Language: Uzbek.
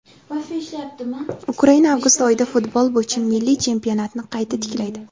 Ukraina avgust oyida futbol bo‘yicha milliy chempionatni qayta tiklaydi.